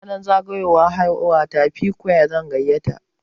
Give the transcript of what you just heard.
Ranar zagayowar haihuwata, P-Squre zan gayyata.